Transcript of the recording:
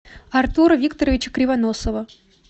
артура викторовича кривоносова